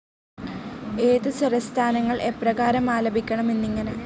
ഏത് സ്വരസ്ഥാനങ്ങൾ എപ്രകാരം ആലപിക്കണം എന്നിങ്ങനെ.